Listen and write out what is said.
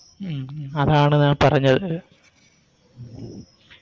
ഉം ഉം അതാണ് ഞാൻ പറഞ്ഞത്